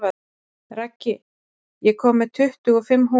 Raggi, ég kom með tuttugu og fimm húfur!